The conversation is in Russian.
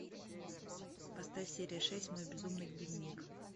поставь серия шесть мой безумный дневник